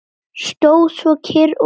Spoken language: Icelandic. Stóð svo kyrr og beið.